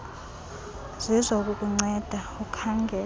zizo ukukunceda ukhangele